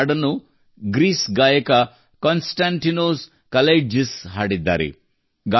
ಈ ಹಾಡನ್ನು ಗ್ರೀಸ್ ಗಾಯಕ ಕಾನ್ ಸ್ಟಾಂಟಿನೋಸ್ ಕಲೈಟ್ಜಿಸ್ ಹಾಡಿದ್ದಾರೆ